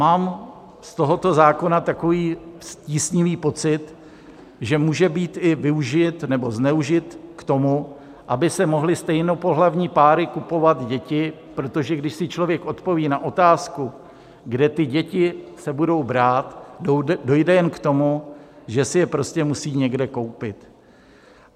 Mám z tohoto zákona takový tísnivý pocit, že může být i využit nebo zneužit k tomu, aby si mohly stejnopohlavní páry kupovat děti, protože když si člověk odpoví na otázku, kde ty děti se budou brát, dojde jen k tomu, že si je prostě musí někde koupit.